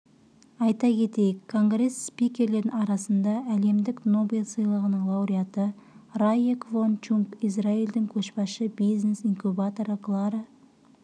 айта кетейік конгресс спикерлерінің арасында әлемдік нобель сыйлығының лауреаты рае квон чунг израильдің көшбасшы бизнес-инкубаторы клара